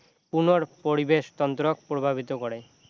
পুনৰ পৰিবেশ তন্ত্ৰক প্ৰভাৱিত কৰে